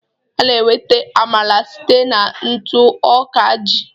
A na-enweta Amala site na ntụ ọka ji